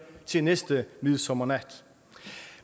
til næste midsommernat